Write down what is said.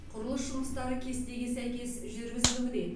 құрылыс жұмыстары кестеге сәйкес жүргізілуде